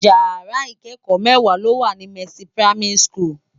Ìyàrá ikèékò mèwá ló wá ni Mercy Primary School